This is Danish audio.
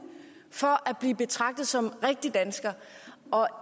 svare at blive betragtet som rigtig dansker og